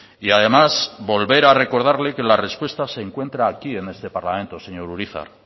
y además volver a recordarle que la respuesta se encuentra aquí en este parlamento señor urizar